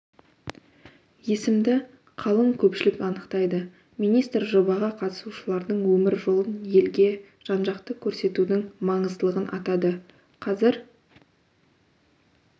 есімді қалың көпшілік анықтайды министр жобаға қатысушылардың өмір жолын елге жан-жақты көрсетудің маңыздылығын атады қазір